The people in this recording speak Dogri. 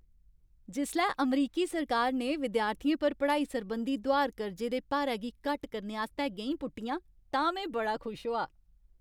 जिसलै अमरीकी सरकार ने विद्यार्थियें पर पढ़ाई सरबंधी दुहार कर्जे दे भारै गी घट्ट करने आस्तै गैईं पुट्टियां तां में बड़ा खुश होआ।